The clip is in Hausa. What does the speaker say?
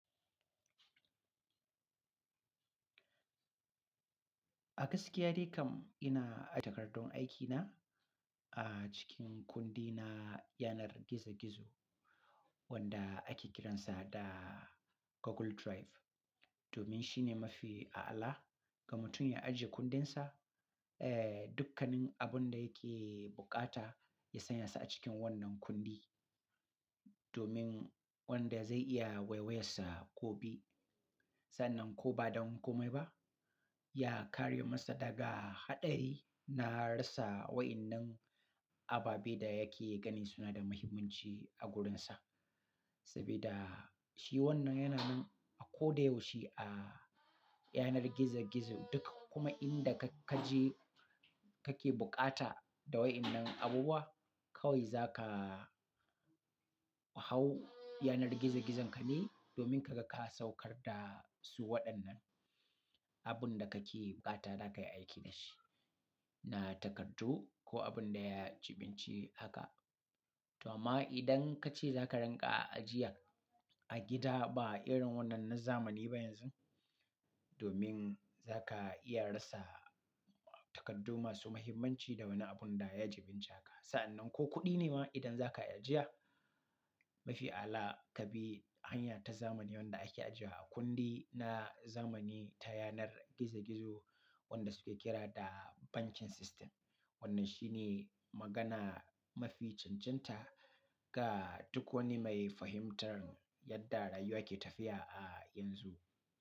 A gaskiya dai kam ina aje takardun aikina a cikin kundina yanar gizo-gizo wanda ake kiransa da Google Drive. Domin shi ne mafi a'ala ga mutum ya ajiye kundinsa, eh, dukkanin abun da yake bukata ya sanya sa a cikin wannan kundi. Domin wanda zai iya wai-wayensa gobe, sannan ko ba don kome ba, ya kare masa daga haɗari na rasa wa'innan ababe da yake gani suna da muhimmanci a gurinsa. Sabida shi wannan yana min a ko da yaushe a yanar gizo-gizo duka kuma inda ka kaje kake bukata da wa'innan abubuwa kawai za ka hau yanar gizo-gizon ka ne domin kaga ka saukar da su waɗannan abun da kake bukata za ka yi aiki da shi, na takardu ko abun da ya jibinci haka. To amma idan kace za ka rinƙa ajiya a gida ba irin wannan na zamani ba yanzu, domin za ka iya rasa takardu masu muhimmanci da wani abun da ya jibinci haka. Sa'annan ko kuɗi ne ma idan za ka ajiya mafi ala ka bi hanya ta zamani wanda ake ajiya a kundi na zamani ta yanar gizo-gizo wanda suke kira da bankin system. Wannan shi ne magana mafi cancanta ga duk wani mai fahimtar yadda rayuwa ke tafiya a yanzu.